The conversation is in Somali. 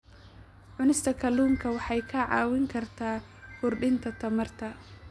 Cunista kalluunka waxay kaa caawin kartaa kordhinta tamarta.